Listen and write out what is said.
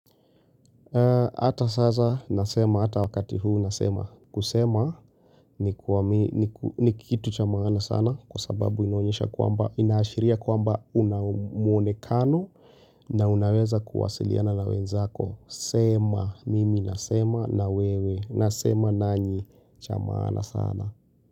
Hata sasa nasema, hata wakati huu nasema, kusema ni ni kitu cha maana sana kwa sababu inaonyesha kwamba inaashiria kwamba unamuonekano na unaweza kuwasiliana na wenzako. Sema, mimi nasema na wewe, nasema nanyi cha maana sana.